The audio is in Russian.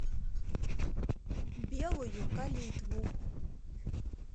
белую калитву